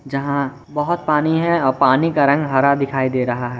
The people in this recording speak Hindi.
जहां बहोत पानी है पानी का रंग हरा दिखाई दे रहा है।